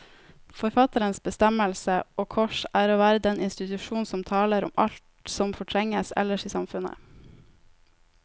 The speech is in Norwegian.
Forfatterens bestemmelse, og kors, er å være den institusjon som taler om alt som fortrenges ellers i samfunnet.